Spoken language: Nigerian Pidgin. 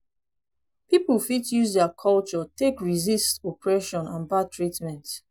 pipo fit use their culture take resist oppression and bad treatment